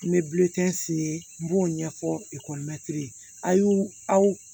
N bɛ n b'o ɲɛfɔ